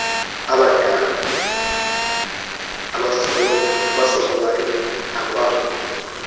abadala abasokolayo nakwabo